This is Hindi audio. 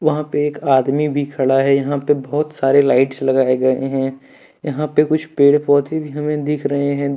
यहाँ पे एक आदमी भी खड़ा है यहां पे बहुत सारे लाइट्स लगाए गए हैं यहां पे कुछ पेड़ पौधे भी हमें दिख रहे हैं।